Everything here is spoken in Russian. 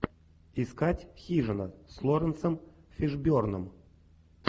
искать хижина с лоуренсом фишборном